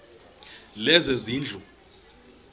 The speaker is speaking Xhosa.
lezezindlu